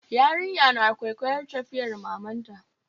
Yarinyar na kwaikwayar tafiyar mamanta